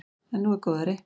En nú er góðæri.